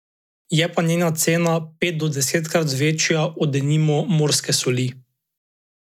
Je pa njena cena pet do desetkrat višja od denimo morske soli.